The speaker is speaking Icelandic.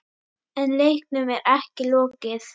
En leiknum er ekki lokið.